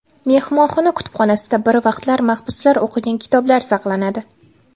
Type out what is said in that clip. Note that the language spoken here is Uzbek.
Mehmonxona kutubxonasida bir vaqtlar mahbuslar o‘qigan kitoblar saqlanadi.